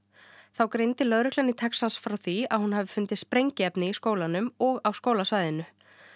þá greindi lögreglan í Texas frá því að hún hafi fundið sprengiefni í skólanum og á skólasvæðinu